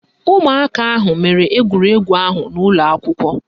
Ụmụaka ahụ mere egwuregwu ahụ n'ụlọakwụkwọ